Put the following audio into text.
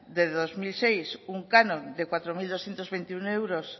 desde dos mil seis un canon de cuatro mil doscientos veintiuno euros